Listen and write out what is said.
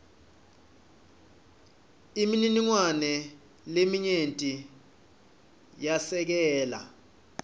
imininingwane leminyenti yesekela